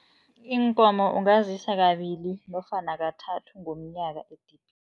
Iinkomo ungazisa kabili nofana kathathu ngomnyaka edibhini.